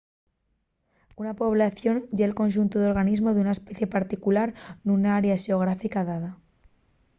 una población ye’l conxuntu d’organismos d’una especie particular nuna área xeográfica dada